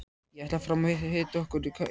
Ég ætla fram og hita okkur kaffisopa.